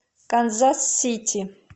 канзас сити